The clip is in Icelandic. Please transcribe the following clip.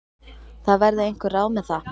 Það verði einhver ráð með það.